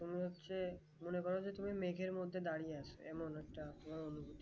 তুমি হচ্ছে মনে করো যে, তুমি মেঘের মধ্যে দাঁড়িয়ে আছো এমন একটা অনুভূতি